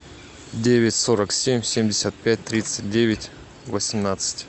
девять сорок семь семьдесят пять тридцать девять восемнадцать